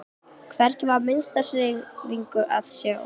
Hvergi var minnstu hreyfingu að sjá.